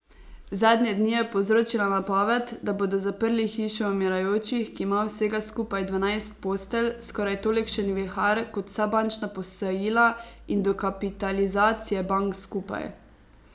Zadnje dni je povzročila napoved, da bodo zaprli Hišo umirajočih, ki ima vsega skupaj dvanajst postelj, skoraj tolikšen vihar kot vsa bančna posojila in dokapitalizacije bank skupaj.